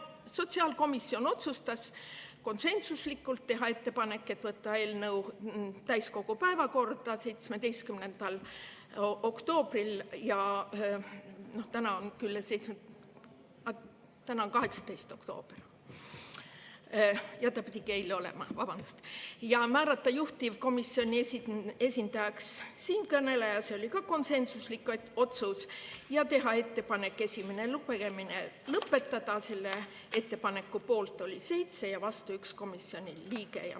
Sotsiaalkomisjon otsustas konsensuslikult teha ettepaneku võtta eelnõu täiskogu päevakorda 17. oktoobril – täna on küll juba 18. oktoober, ta pidigi siin eile olema – ja määrata juhtivkomisjoni esindajaks siinkõneleja, see oli ka konsensuslik otsus, ja teha ettepanek esimene lugemine lõpetada, selle ettepaneku poolt oli 7 komisjoni liiget ja vastu 1.